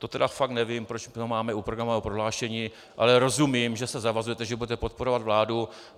To tedy fakt nevím, proč to máme u programového prohlášení, ale rozumím, že se zavazujete, že budete podporovat vládu.